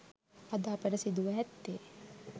අද අපට සිදුව ඇත්තේ